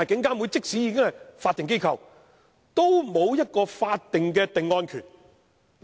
但是，即使監警會是法定機構，也沒有法定的定案權。